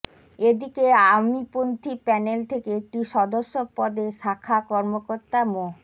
এদিকে আওয়ামীপন্থি প্যানেল থেকে একটি সদস্য পদে শাখা কর্মকর্তা মো